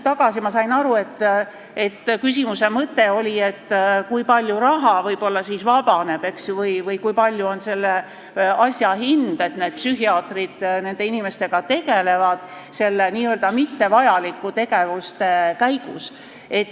Aga ma sain aru, et teie küsimuse mõte oli see, kui palju raha võib-olla siis vabaneb või kui suur on selle asja hind, et psühhiaatrid nende inimestega tegelevad selle n-ö mittevajaliku tegevuse käigus.